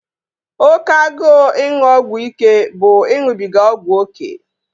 Oke agụụ ịṅụ ọgwụ ike bụ ịṅụbiga ọgwụ oké